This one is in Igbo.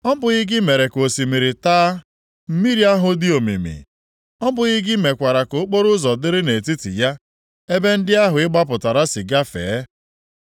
Ọ bụghị gị mere ka osimiri taa? Mmiri ahụ dị omimi. Ọ bụghị gị mekwara ka okporoụzọ dịrị nʼetiti ya, ebe ndị ahụ ị gbapụtara si gafee?